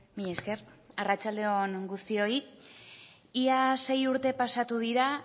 mila esker arratsalde on guztioi ia sei urte pasatu dira